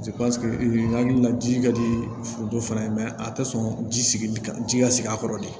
hakili la ji ka di foronto fana ye a tɛ sɔn ji sigi ka ji ka sigi a kɔrɔ de